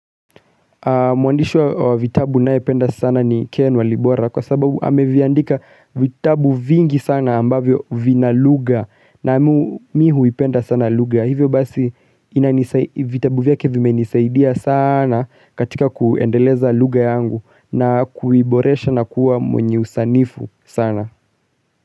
Mwandishi wa vitabu ninayependa sana ni ken walibora kwa sababu ameviandika vitabu vingi sana ambavyo vina lugha na mimi huipenda sana lugha. Hivyo basi vitabu vyake vimenisaidia sana katika kuendeleza lugha yangu na kuiboresha na kuwa mwenye usanifu sana.